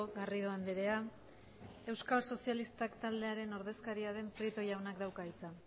garrido andrea euskal sozialistak taldearen ordezkaria den prieto jaunak dauka hitza